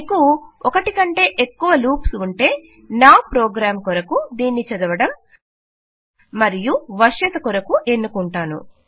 మీకు 1 కంటే ఎక్కువ లూప్స్ ఉంటే నా ప్రోగ్రాం కొరకు దీనిని చదవడం మరియు వశ్యత కొరకు ఎన్నుకుంటాను